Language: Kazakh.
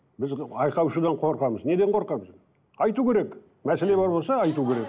біз айқай шудан қорқамыз неден қорқамыз айту керек мәселе бар болса айту керек